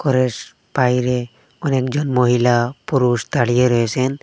ঘরেস বাইরে অনেকজন মহিলা পুরুষ দাঁড়িয়ে রয়েছেন।